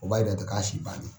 O b'a yira de k'a si bannen.